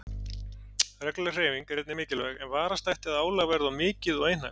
Regluleg hreyfing er einnig mikilvæg en varast ætti að álag verði of mikið og einhæft.